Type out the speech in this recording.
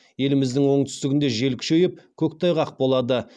еліміздің оңтүстігінде жел күшейіп көктайғақ болады